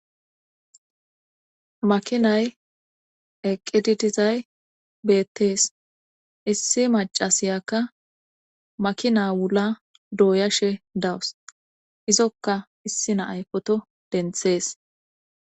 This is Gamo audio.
makinay eqididizay beettees issi macasiyakka makina wula dooyashe dawus izokka issi naay poto denthees